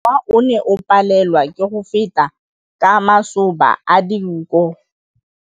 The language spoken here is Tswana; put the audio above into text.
Mowa o ne o palelwa ke go feta ka masoba a dinko.